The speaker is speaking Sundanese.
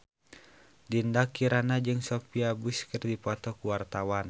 Dinda Kirana jeung Sophia Bush keur dipoto ku wartawan